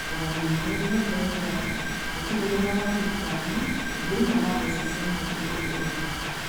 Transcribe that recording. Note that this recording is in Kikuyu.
O na ningĩ nĩ ongereire atĩ gũtirĩ wĩra wa thirikari ũgũrĩhwo na mbeca mweri ũyũ ũroka.